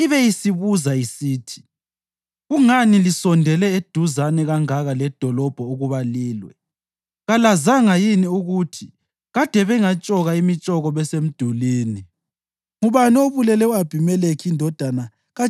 ulaka lwenkosi lungavutha, ibe isibuza isithi, ‘Kungani lisondele eduzane kangaka ledolobho ukuba lilwe? Kalazanga yini ukuthi kade bengatshoka imitshoko besemdulini?